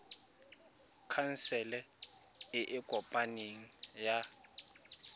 khansele e e kopaneng ya